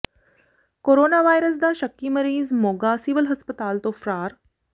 corona virus ਦਾ ਸ਼ੱਕੀ ਮਰੀਜ਼ ਮੋਗਾ ਸਿਵਲ ਹਸਪਤਾਲ ਤੋਂ ਫ਼ਰਾਰ